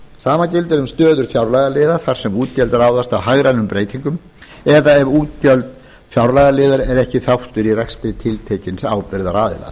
sama gildir um stöður fjárlagaliða þar sem útgjöld ráðast af hagrænum breytingum eða ef útgjöld fjárlagaliðar eru ekki þáttur í rekstri tiltekins ábyrgðaraðila